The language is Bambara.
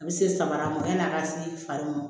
A bɛ se samara ma yan'a ka se fari ma